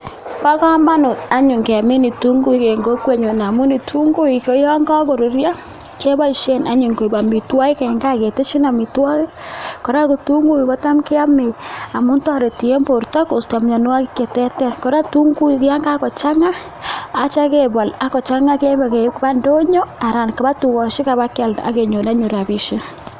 Bo komonut anyun kemin ketunguuik en kokwenyun amun kitunguuik koyon kokoruryoo keboishien anyun koik amitwogiik en gaa ketesyiiin amitwogik. Kora kitunguuik kotam keyoome amu toretii en bortoo kostoo mianwogiik che terter. Kora kitunguik ko yan kakochangaa ak yeityoo kebool keibe kobaa indonyoo anan ko tukosiek ak ibakialdaa ak kenyoor anyun rabisiek.